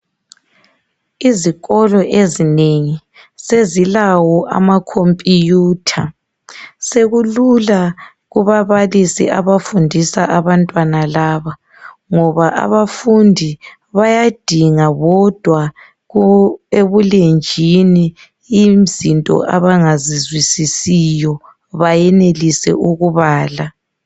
Izikolo ezinengi sezilawo amakhompiyutha, sekulula kubabalisi abafundisa abantwana laba ngoba abafundi bayadinga bodwa ku-, ebulenjini izinto abangazizwisisiyo bayenelise ukubala.